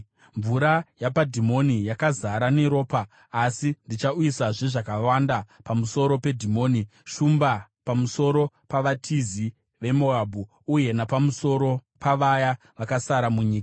Mvura yapaDhimoni yakazara neropa, asi ndichauyisazve zvakawanda pamusoro peDhimoni, shumba pamusoro pavatizi veMoabhu uye napamusoro pavaya vakasara munyika.